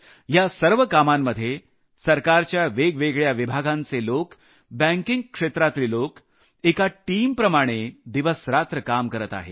या सर्व कामांमध्ये सरकारच्या वेगवेगळ्या विभागांचे लोक बँकिंग क्षेत्रातले लोक एका टीमप्रमाणे दिवसरात्र काम करत आहेत